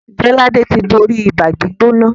Jolade tí bóri Ibàá-gbóná